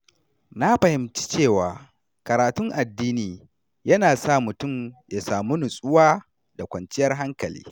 Na fahimci cewa karatun addini yana sa mutum ya samu nutsuwa da kwanciyar hankali.